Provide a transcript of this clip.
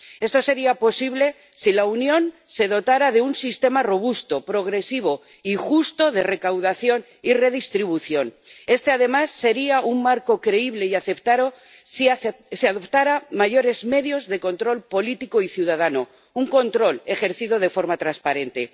Esto sería posible si la Unión se dotara de un sistema robusto, progresivo y justo de recaudación y redistribución. Este, además, sería un marco creíble y aceptado si se adoptaran mayores medios de control político y ciudadano, un control ejercido de forma transparente.